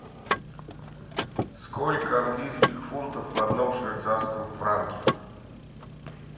сколько английских фунтов в одном швейцарском франке